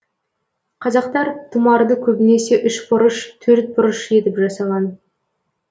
қазақтар тұмарды көбінесе ұшбұрыш төртбұрыш етіп жасаған